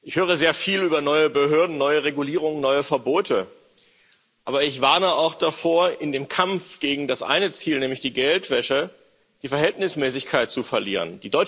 Ich höre sehr viel über neue Behörden, neue Regulierungen, neue Verbote, aber ich warne auch davor, in dem Kampf gegen das eine Ziel, nämlich die Geldwäsche, die Verhältnismäßigkeit zu verlieren.